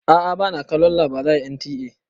A'a ba na kalon labarai à NTA.